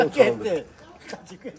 Hara getdi?